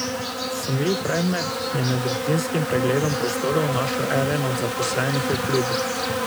Sumljiv predmet je med rutinskim pregledom prostorov našel eden od zaposlenih v klubu.